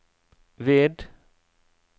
ved